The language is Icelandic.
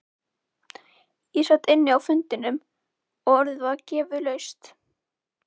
Ég sat inni á fundinum og orðið var gefið laust.